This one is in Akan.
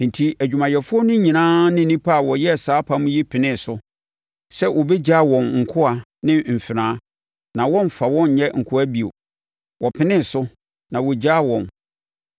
Enti adwumayɛfoɔ no nyinaa ne nnipa a wɔyɛɛ saa apam yi penee so sɛ wɔbɛgyaa wɔn nkoa ne mfenaa, na wɔremfa wɔn nyɛ nkoa bio. Wɔpenee so, na wɔgyaa wɔn.